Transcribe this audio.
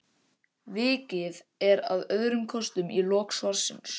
Vikið er að öðrum kostum í lok svarsins.